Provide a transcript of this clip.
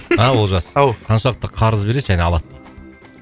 а олжас ау қаншалықты қарыз береді және алады